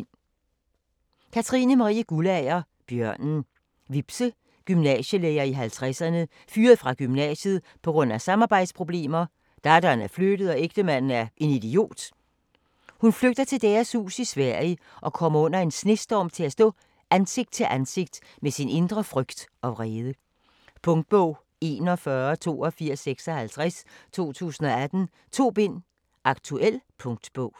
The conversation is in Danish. Guldager, Katrine Marie: Bjørnen Vibse, gymnasielærer i 50'erne, fyret fra gymnasiet pga. samarbejdsproblemer, datteren er flyttet og ægtemanden er en idiot. Hun flygter til deres hus i Sverige, og kommer under en snestorm til at stå ansigt til ansigt med sin indre frygt og vrede. Punktbog 418256 2018. 2 bind. Aktuel punktbog